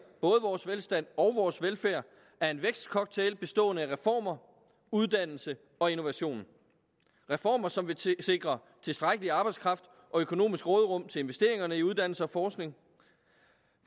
både vores velstand og vores velfærd er en vækstcocktail bestående af reformer uddannelse og innovation reformer som vil sikre tilstrækkelig arbejdskraft og økonomisk råderum til investeringer i uddannelse og forskning